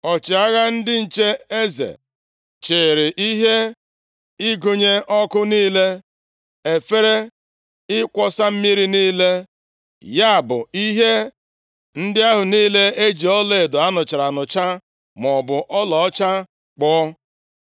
Ọchịagha ndị nche eze, chịrị ihe ịgụnye ọkụ niile, efere ịkwọsa mmiri niile, ya bụ ihe ndị ahụ niile e ji ọlaedo a nụchara anụcha maọbụ ọlaọcha kpụọ.